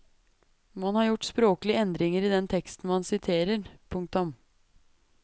Man har gjort språklige endringer i den teksten man siterer. punktum